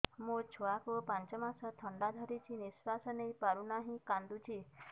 ମୋ ଛୁଆକୁ ପାଞ୍ଚ ମାସ ଥଣ୍ଡା ଧରିଛି ନିଶ୍ୱାସ ନେଇ ପାରୁ ନାହିଁ କାଂଦୁଛି